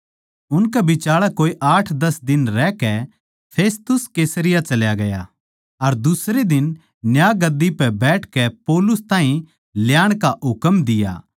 उनकै बिचाळै कोए आठदस दिन रहकै फेस्तुस कैसरिया चल्या गया अर दुसरे दिन न्यायगद्दी पै बैठकै पौलुस ताहीं ल्याण का हुकम दिया